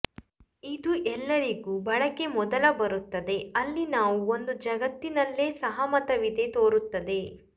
ಇದು ಎಲ್ಲರಿಗೂ ಬಳಕೆ ಮೊದಲ ಬರುತ್ತದೆ ಅಲ್ಲಿ ನಾವು ಒಂದು ಜಗತ್ತಿನಲ್ಲೇ ಸಹಮತವಿದೆ ತೋರುತ್ತದೆ